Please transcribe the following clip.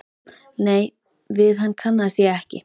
Nei, við hann kannaðist ég ekki.